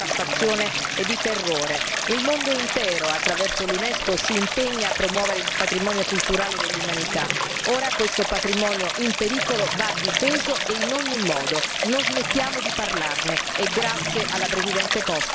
Il mondo intero attraverso l'Unesco si impegna a promuovere il patrimonio culturale dell'umanità, ora questo patrimonio in pericolo va difeso e in ogni modo non smettiamo di parlarne, e grazie alla presidente Costa per aver sollevato il dibattito.